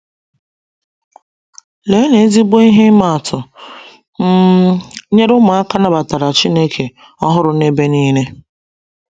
Leenụ ezigbo ihe ịma atụ um nyere ụmụaka nabatara Chineke ọhụrụ n'ebe niile!